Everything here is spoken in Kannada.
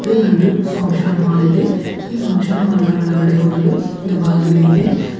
ಇದು ಒಂದು ಫಂಕ್ಷನ್ ಹಾಲ್ ಇದೆ ಈ ಫಂಕ್ಷನ್ ಹಾಲ್ನ ಒಳಗಡೆ ಹೋಗಲು ಒಂದು ಬಾಗಿಲು ಇದೆ.